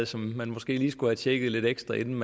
som man måske lige skulle have tjekket lidt ekstra inden